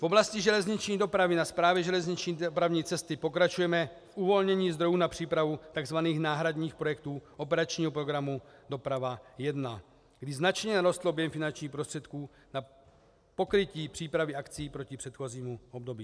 V oblasti železniční dopravy na Správě železniční dopravní cesty pokračujeme v uvolnění zdrojů na přípravu tzv. náhradních projektů operačního programu Doprava 1, kdy značně narostl objem finančních prostředků na pokrytí přípravy akcí proti předchozímu období.